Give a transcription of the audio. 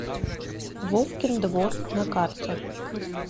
вовкин двор на карте